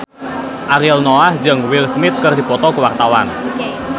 Ariel Noah jeung Will Smith keur dipoto ku wartawan